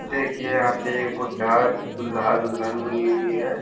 देखिए यहाँ पे एक बुड्ढा दूल्हा-दुल्हन बनी हुई है ।